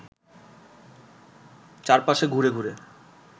চারপাশে ঘুরে ঘুরে